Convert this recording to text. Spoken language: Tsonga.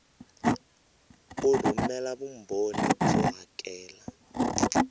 u rhumela vumbhoni byo hakela